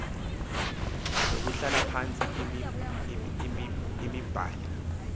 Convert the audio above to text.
nokuhlala phantsi yimiblali